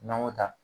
N'an y'o ta